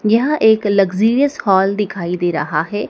यहां एक luxurious hall दिखाई दे रहा है।